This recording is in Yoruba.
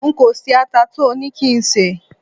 nko se ata to ni ki n se